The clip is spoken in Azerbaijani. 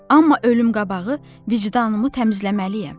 Amma ölüm qabağı vicdanımı təmizləməliyəm.